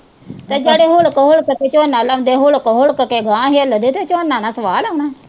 ਤੇ ਜਿਹੜੇ ਹੁਕੜ-ਹੁੜਕ ਕੇ ਝੋਨਾ ਲਾਉਂਦੇ, ਹੁੜਕ-ਹੁੜਕ ਕੇ ਅਗਾਂਹ ਹਿਲਦੇ ਤੇ ਝੋਨਾ ਉਨ੍ਹਾਂ ਨੇ ਸਵਾਹ ਲਾਉਣਾ।